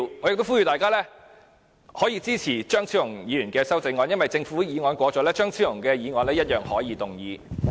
我呼籲大家支持張超雄議員提出的修正案，因為政府的修正案通過後，張超雄議員一樣可以動議其修正案。